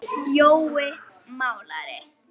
Jói málari